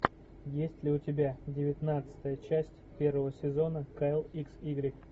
есть ли у тебя девятнадцатая часть первого сезона кайл икс игрек